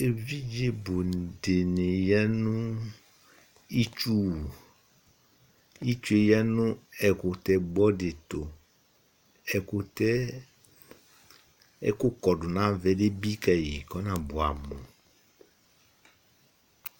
evidze bò di ni ya no itsu no itsue ya no ɛkutɛ gbɔ di to ɛkutɛ ɛkò kɔdu n'ava yɛ ebi kayi k'ɔna boɛ amo